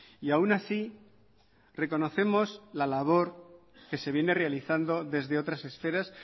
y aún así reconocemos la labor que se viene realizando desde otras esferas